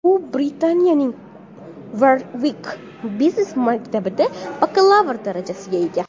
U Britaniyaning Warwick biznes-maktabida bakalavr darajasiga ega.